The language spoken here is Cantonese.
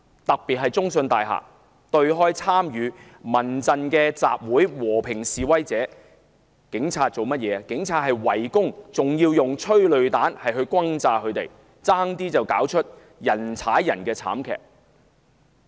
尤其在中信大廈對開參與由民間人權陣線發起的集會的和平示威者，受到警方圍攻及施放催淚彈轟炸，差點釀成人踩人慘劇。